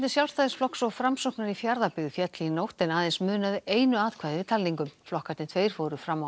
Sjálfstæðisflokks og Framsóknar í Fjarðabyggð féll í nótt en aðeins munaði einu atkvæði við talningu flokkarnir tveir fóru fram á